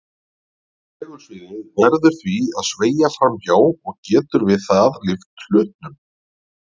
Segulsviðið verður því að sveigja fram hjá og getur við það lyft hlutnum.